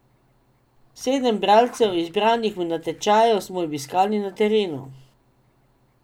Sedem bralcev, izbranih v natečaju, smo obiskali na terenu.